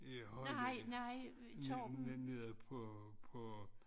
Ja Højly nede på på